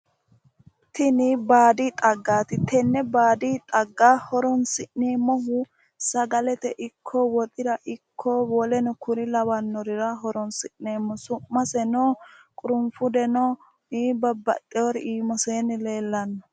Tinni baadi xaggaati tenne baadi xagga horoonsi'neemohu sagalete ikko woxira ikko woleno kuri lawanorira horoonsi'neemo su'maseno qurufudeno babbaxeori iimase leellano.